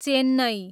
Chennai